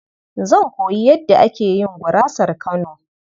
Zan koyi yadda ake yin gurasar Kano.